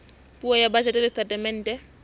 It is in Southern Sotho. puo ya bajete le setatemente